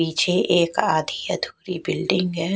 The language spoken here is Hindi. पीछे एक आधी अधूरी बिल्डिंग है।